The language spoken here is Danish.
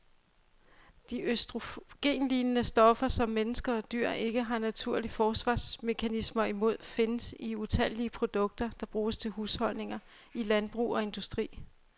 De østrogenlignende stoffer, som mennesker og dyr ikke har naturlige forsvarsmekanismer imod, findes i utallige produkter, der bruges i husholdninger, i landbrug og industri.